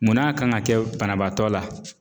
Munn'a kan ŋa kɛ banabaatɔ la?